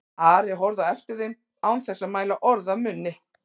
Ari horfði á eftir þeim án þess að mæla orð af munni.